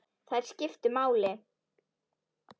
Þær skiptu máli.